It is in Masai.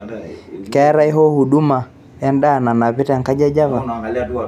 keetae hoo huduma endaa nanapi te kaji e java